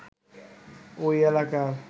ওই এলাকার